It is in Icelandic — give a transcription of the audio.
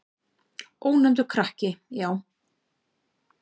Ónefndur krakki: Já.